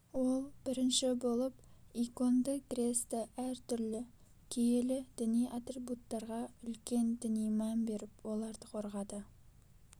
ол бірінші болып иконды кресті әр түрлі киелі діни атрибуттарға үлкен діни мән беріп оларды қорғады